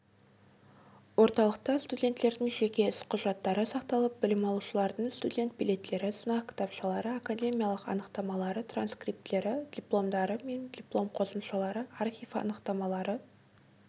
орталықта студенттердің жеке іс құжаттары сақталып білім алушылардың студент билеттері сынақ кітапшалары академиялық анықтамалары транскриптері дипломдары мен диплом қосымшалары архив анықтамалары